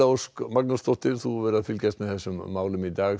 Ósk Magnúsdóttir þú hefur fylgst með þessum málum í dag